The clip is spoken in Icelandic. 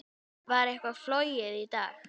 Var eitthvað flogið í dag?